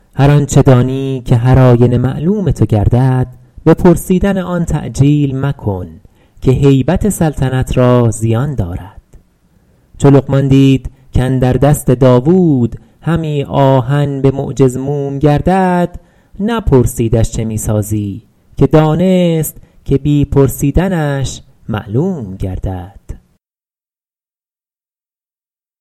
هر آنچه دانی که هر آینه معلوم تو گردد به پرسیدن آن تعجیل مکن که هیبت سلطنت را زیان دارد چو لقمان دید کاندر دست داوود همی آهن به معجز موم گردد نپرسیدش چه می سازی که دانست که بی پرسیدنش معلوم گردد